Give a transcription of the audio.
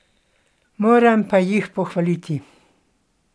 Moram pa jih pohvaliti.